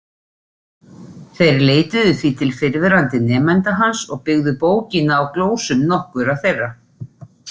Þeir leituðu því til fyrrverandi nemenda hans og byggðu bókina á glósum nokkurra þeirra.